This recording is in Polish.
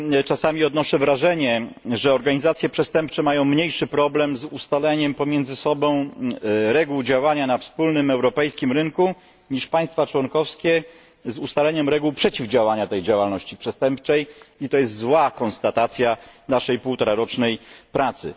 Czasami odnoszę wrażenie, że organizacje przestępcze mają mniejszy problem z ustaleniem pomiędzy sobą reguł działania na wspólnym europejskim rynku niż państwa członkowskie z ustaleniem reguł przeciwdziałania tej działalności przestępczej, i to jest złe podsumowanie naszej półtorarocznej pracy.